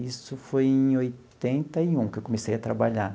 Isso foi em oitenta e um que eu comecei a trabalhar.